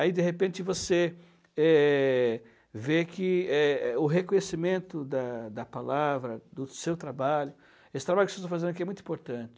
Aí, de repente, você eh, vê que, eh, o reconhecimento da da palavra, do seu trabalho, esse trabalho que vocês estão fazendo aqui é muito importante.